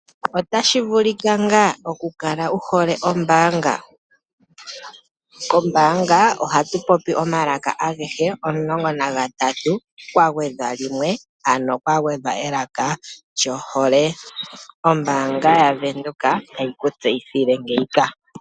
Ota shi vulika ngaa oku kala wu hole ombaanga? Ko mbaanga oha tu popi omalaka agehe omulongo nagatatu kwagwedhwa limwe ano kwa gwedhwa elaka lyohole. Ombaanga ya Venduka ta yi ku tseyithile ngeyika.